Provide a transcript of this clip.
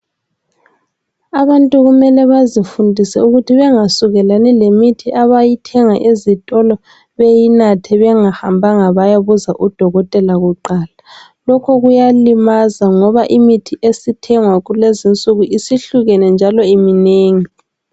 Abantu kumele bazifundise ukuthi bengasukelani lemithi abayithenga ezitolo beyinathe bengahambanga bayabuza udokotela kuqala. Lokho kuyalimaza ngoba imithi esithengwa kulezinsuku isihlukene njalo iminengi.